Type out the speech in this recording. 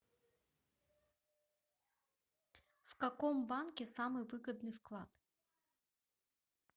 в каком банке самый выгодный вклад